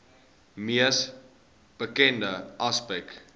mees bekende aspek